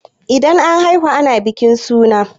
Idan an haihu ana bikin suna